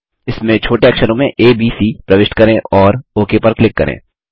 इसमें छोटे अक्षरों में एबीसी प्रविष्ट करें और ओक पर क्लिक करें